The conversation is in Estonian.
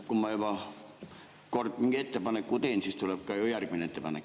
Kui ma juba kord mingi ettepaneku teen, siis tuleb ju ka järgmine ettepanek.